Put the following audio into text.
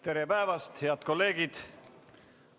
Tere päevast, head kolleegid!